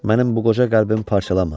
Mənim bu qoca qəlbimi parçalama.